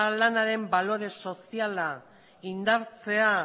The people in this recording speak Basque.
lanaren balore soziala indartzea